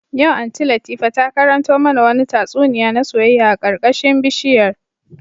Yau Aunty Latifa ta karanto mana wani tatsuniya na soyayya a karkashin bishiyar